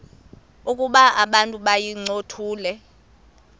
ukuba abantu bayincothule